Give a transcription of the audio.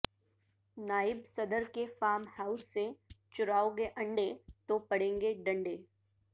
نائب صدر کے فارم ہاوس سےچراوگے انڈے تو پڑیں گے ڈنڈے